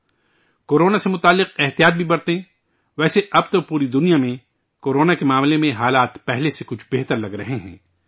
ہاں ! کورونا سے متعلق احتیاط بھی برتیں، ویسے ، اب تو پوری دنیا میں کورونا کے تعلق سے حالات پہلے سے کچھ بہتر لگ رہے ہیں